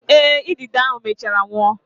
Eh, idide ahụ mechaara nwụọ.